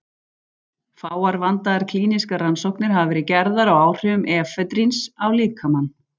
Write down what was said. Fáar vandaðar klínískar rannsóknir hafa verið gerðar á áhrifum efedríns á líkamann.